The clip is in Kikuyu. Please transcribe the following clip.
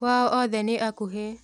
Kwao othe nĩ akuhĩ